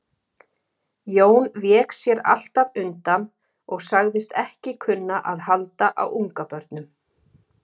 Jón vék sér alltaf undan og sagðist ekki kunna að halda á ungabörnum.